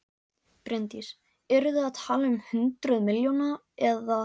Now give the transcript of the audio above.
Bryndís: Eru þið að tala um hundruð milljóna eða?